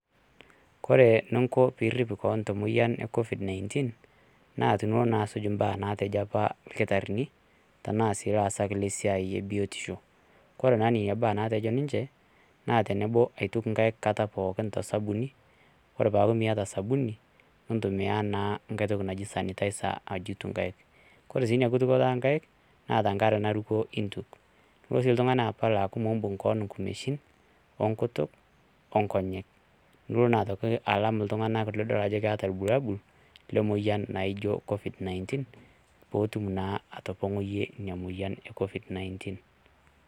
Kore ninko piirip keon te moyian e COVID-19 naa tinilo naa asuj imbaa naatejo apa lkitarini tanaa laasak le siaai ebiotisho, kore naa nenia baa nateji ninche naa tenebo aituk inkaik nkata pookin te sabuni ore paaku mieta sabuni nintumiyaa naa nkae toki naji sanitizer ajutie inkaik, kore sii ina kitukoto onkaik naa te nkare naruko iintuk ,nilo sii ltungani apal aaku miimbung' keon nkumeshin, onkutuk, onkonyek nilo naa aitoki alam ltunganak nidol ajo keta iwualabul le moyian naijo COVID -19 peetum naa atopong'oiye ina moyian e COVID-19.